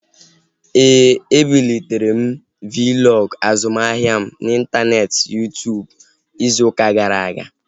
Éè, e bulitere m Vlog azụmahịa m n'intaneeti Yuu-tụụbụ izu ụka gara aga